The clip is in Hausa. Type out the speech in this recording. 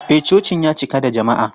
E, cocin ya cika da jama'a.